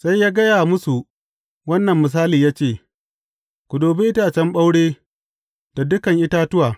Sai ya gaya musu wannan misali ya ce, Ku dubi itacen ɓaure da dukan itatuwa.